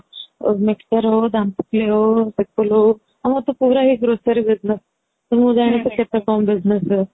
mixture ହଉ ହଉ ହଉ ଆମର ତ ପୁରା ହି grocery business ମୁଁ ଜାଣିଛି କେତେ କଣ business ହୁଏ